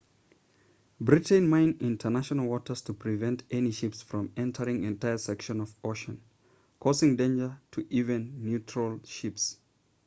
britain mined international waters to prevent any ships from entering entire sections of ocean causing danger to even neutral ships